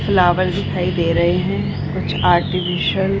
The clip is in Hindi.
फ्लावर्स दिखाई दे रहे हैं कुछ आर्टिफिशियल --